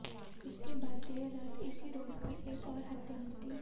उसके बाद देर रात इसी रोड पर एक और हत्या हुई थी